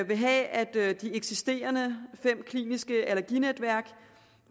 vil have at de fem eksisterende kliniske allerginetværk